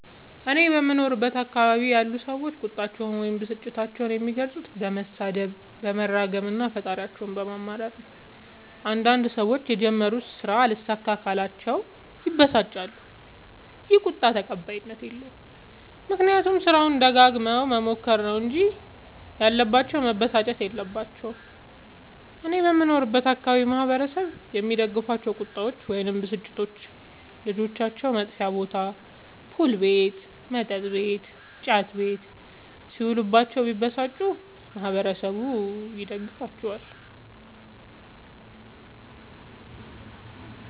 እኔ በምኖርበት አካባቢ ያሉ ሠዎች ቁጣቸዉን ወይም ብስጭታቸዉን የሚገልፁት በመሣደብ በመራገም እና ፈጣሪያቸዉን በማማረር ነዉ። አንዳንድ ሠዎች የጀመሩት ስራ አልሣካላቸዉ ካለ ይበሳጫሉ ይ። ይህ ቁጣ ተቀባይኀት የለዉም። ምክንያቱም ስራዉን ደጋግመዉ መሞከር ነዉ እንጂ ያለባቸዉ መበሳጨት የለባቸዉም። እኔ በምኖርበት አካባቢ ማህበረሰቡ የሚደግፋቸዉ ቁጣዎች ወይም ብስጭቶች ልጆቻቸዉ መጥፌ ቦታ[ፑል ቤት መጥ ቤት እና ጫት ቤት ]ሢዉሉባቸዉ ቢበሳጩ ማህበረሠቡ ይደግፋቸዋል።